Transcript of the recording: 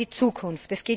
Es geht um die Zukunft.